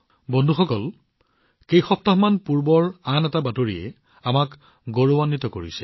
বন্ধুসকল কেইসপ্তাহমান পূৰ্বে আন এটা বাতৰি আহিছিল যিটোৱে আমাক গৌৰৱেৰে ভৰাই তুলিছে